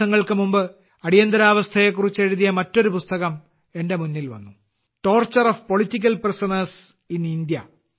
കുറച്ച് ദിവസങ്ങൾക്ക് മുമ്പ് അടിയന്തരാവസ്ഥയെക്കുറിച്ച് എഴുതിയ മറ്റൊരു പുസ്തകം എന്റെ മുന്നിൽ വന്നു torture of political prisoners in India